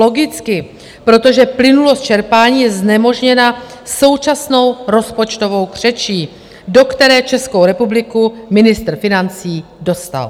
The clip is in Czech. Logicky, protože plynulost čerpání je znemožněna současnou rozpočtovou křečí, do které Českou republiku ministr financí dostal.